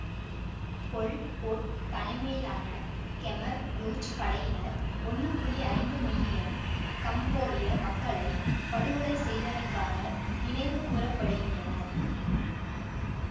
பொல் Pot தலைமையிலான Khmer Rouge படையினர் ஒன்னு புள்ளி ஐந்து மில்லியன் கம்போடிய மக்களை படுகொலை செய்தமைக்காக நினைவுகூரப்படுகின்றனர்